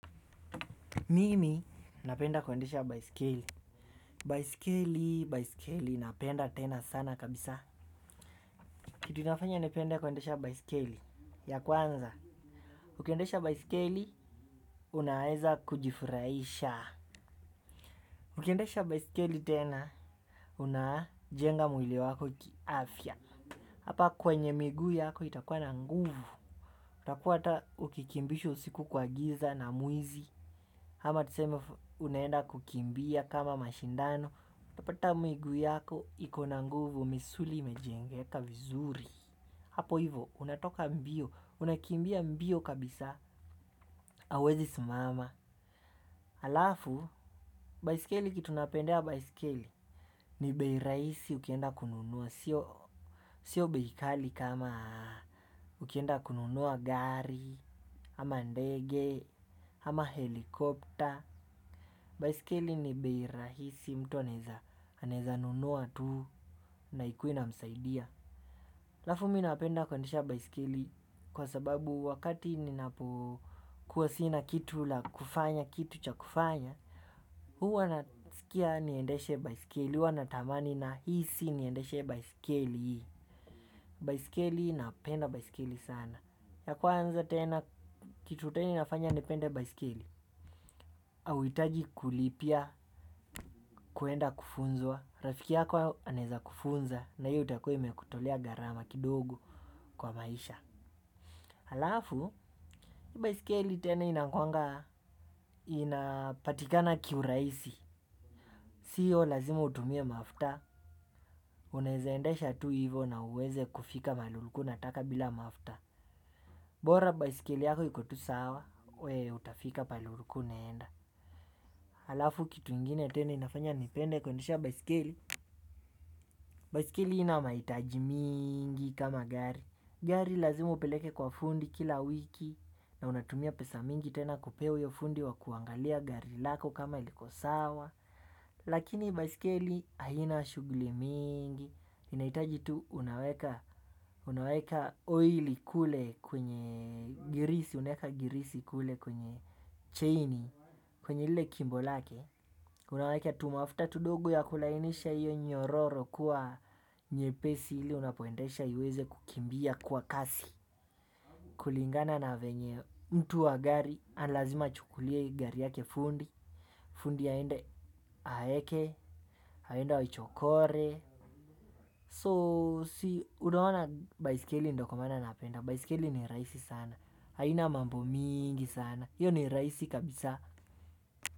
Mimi napenda kuendesha baiskeli. Baiskeli, baiskeli napenda tena sana kabisa. Kitu inafanya nipende kuendesha baiskeli, ya kwanza ukiendesha baiskeli, unaeza kujifurahisha. Ukiendesha baiskeli tena, unajenga mwili wako kiafya. Hapa kwenye miguu yako itakuwa na nguvu. Utakuwa hata ukikimbishwa usiku kwa giza na mwizi, ama tuseme unaenda kukimbia kama mashindano utapata miguu yako iko na nguvu, misuli imejengeka vizuri. Hapo hivo, unatoka mbio, unakimbia mbio kabisa. Hauwezi simama. Halafu, baiskeli kitu napendea baiskeli ni bei rahisi ukienda kununua, sio bei kali kama ukienda kununua gari ama ndege, ama helikopter. Baiskeli ni bei rahisi mtu anaweza anaweza nunua tu. Na ikuwe inamsaidia. Halafu mi napenda kuendesha baiskeli kwa sababu wakati ninapokuwa sina kitu la kufanya kitu cha kufanya, huwa nasikia niendeshe baiskeli, huwa natamani nahisi niendeshe baiskeli. Baiskeli napenda baiskeli sana. Ya kwanza tena kitu tena inafanya nipende baiskeli, hauhitaji kulipia kuenda kufunzwa. Rafiki yako anaweza kufunza na hiyo itakuwa imekutolea gharama kidogo kwa maisha. Halafu, hii baiskeli tena inakuwanga, inapatikana kiurahisi. Sio lazima utumie mafuta. Unaeza endesha tu hivo na uweze kufika mahali ulikuwa unataka bila mafuta. Bora baiskeli yako iko tu sawa, we utafika pahali ulikuwa unaenda. Halafu, kitu ingine tena inafanya nipende kuendesha baiskeli, baiskeli haina mahitaji mingi kama gari. Gari lazima upeleke kwa fundi kila wiki. Na unatumia pesa mingi tena kupea huyo fundi wa kuangalia gari lako kama liko sawa. Lakini baiskeli haina shughuli mingi. Inahitaji tu unaweka oili kule kwenye girisi, unaweka girisi kule kwenye chaini. Kwenye ile kimbo lake. Unaweka tumafuta tudogo ya kulainisha iwe nyororo kuwa nyepesi ili unapoendesha iweze kukimbia kwa kasi. Kulingana na venye mtu wa gari, lazima achukulie gari yake fundi. Fundi aende aeke, aende waichokore, so si, unaona baiskeli ndio kwa maana napenda baiskeli ni rahisi sana, haina mambo mingi sana. Hiyo ni rahisi kabisa.